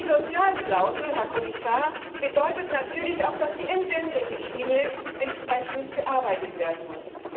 Die Sozialklausel, Herr Kommissar, bedeutet natürlich auch, dass die Entsenderichtlinie entsprechend bearbeitet werden muss.